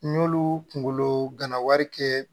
N y'olu kunkolo gana wari kɛ